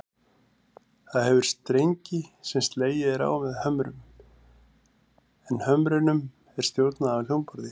Það hefur strengi sem slegið er á með hömrum, en hömrunum er stjórnað af hljómborði.